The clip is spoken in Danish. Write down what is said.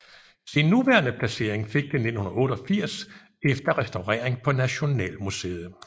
Sin nuværende placering fik det 1988 efter restaurering på Nationalmuseet